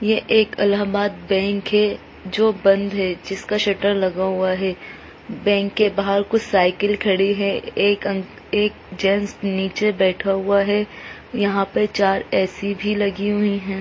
ये एक इलाहाबाद बैंक है जो बंद है जिसका शटर लगा हुआ है बैंक के बाहर कुछ साइकिल खड़ी है एक अंक एक जेंट्स नीचे बैठा हुआ है यहाँ पे चार ए.सी. भी लगी हुई है।